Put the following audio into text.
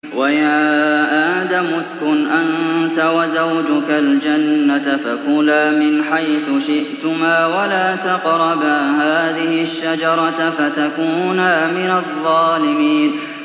وَيَا آدَمُ اسْكُنْ أَنتَ وَزَوْجُكَ الْجَنَّةَ فَكُلَا مِنْ حَيْثُ شِئْتُمَا وَلَا تَقْرَبَا هَٰذِهِ الشَّجَرَةَ فَتَكُونَا مِنَ الظَّالِمِينَ